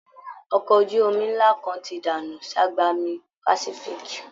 Ọkọ ojú omí ńlá kan ti dànù ságbami Pàsífíìkì